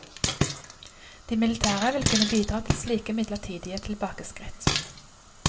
De militære vil kunne bidra til slike midlertidige tilbakeskritt.